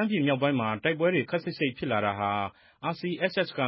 မ်းပြည်မြောက်ပိုင်းမှာ တိုက်ပွဲတွေ ခပ်စိပ်စိပ်ဖြစ်လာတာဟာ RCSS က